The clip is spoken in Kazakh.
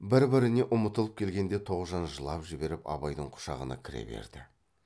бір біріне ұмытылып келгенде тоғжан жылап жіберіп абайдың құшағына кіре берді